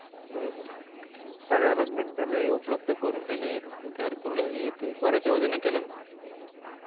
सगळ्या लोकांना स्वच्छालय उपलब्ध करून दिले घरकुल हे ब-याच योजना चालु केल्याना